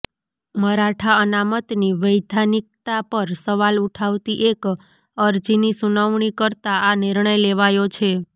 મરાઠા અનામતની વૈધાનિકતા પર સવાલ ઉઠાવતી એક અરજીની સુનવણી કરતા આ નિર્ણય લેવાયો છે